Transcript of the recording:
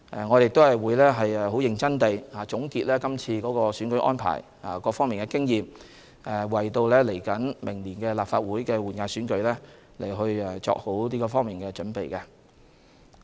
我亦會很認真地總結今次的選舉安排及各方面的經驗，為明年立法會換屆選舉做好準備。